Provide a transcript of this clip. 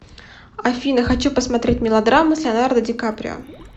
афина хочу посмотреть мелодраму с леонардо ди каприо